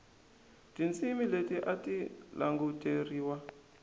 tindzimi leti a ti languteriwa